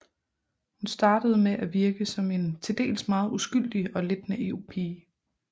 Hun startede med at virke som en til dels meget uskyldig og lidt naiv pige